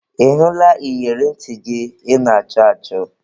Ị hụla iyeri ntị gị ị na-achọ achọ?